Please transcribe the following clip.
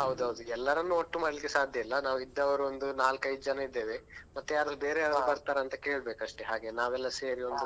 ಹೌದು ಹೌದು ಎಲ್ಲರನ್ನು ಒಟ್ಟು ಮಾಡ್ಲಿಕ್ಕೆ ಸಾಧ್ಯ ಇಲ್ಲಾ ನಾವು ಇದ್ದವರು ಒಂದು ನಾಲ್ಕೈದು ಜನ ಇದ್ದೇವೆ ಮತ್ತೆ ಯಾರಾದ್ರೂ ಬೇರೆಯವರು ಯಾರಾದ್ರೂ ಬರ್ತಾರಂತ ಕೇಳ್ಬೇಕಷ್ಟೆ ಹಾಗೆ ನಾವೆಲ್ಲಾ ಸೇರಿ ಒಂದು